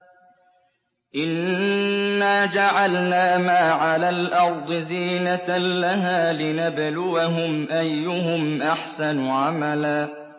إِنَّا جَعَلْنَا مَا عَلَى الْأَرْضِ زِينَةً لَّهَا لِنَبْلُوَهُمْ أَيُّهُمْ أَحْسَنُ عَمَلًا